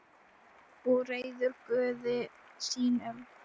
Og reiður Guði sínum.